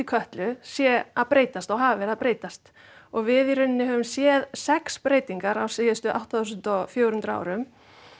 Kötlu sé að breytast og hafi verið að breytast og við í raun höfum séð sex breytingar á síðustu átta þúsund fjögur hundruð árum